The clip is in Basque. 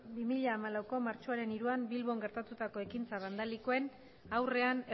bi mila hamalaueko martxoaren hiruan bilbon gertatutako ekintza bandalikoen aurrean